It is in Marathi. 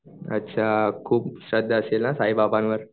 अच्छा खूप श्रद्धा असेल ना साई बाबांवर